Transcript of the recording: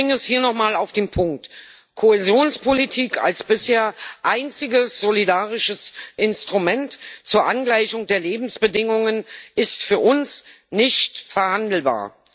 Ich bringe es hier nochmal auf den Punkt Kohäsionspolitik als bisher einziges solidarisches Instrument zur Angleichung der Lebensbedingungen ist für uns nicht verhandelbar.